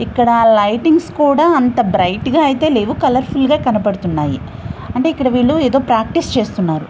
ఇక్కడ లైటింగ్ అయితే అంత బ్రైట్ గా ఏమీ లేవు కలర్ ఫుల్ గ కనబడుతున్నాయి ఇక్కడ ఏదో వీళ్ళు ప్రాక్టీస్ చేస్తున్నారు.